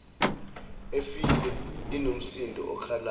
efile inomsindo okhalayo